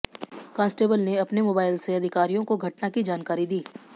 constable ने अपने mobile से अधिकारियों को घटना की जानकारी दी